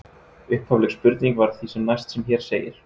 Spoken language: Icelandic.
Upphafleg spurning var því sem næst sem hér segir: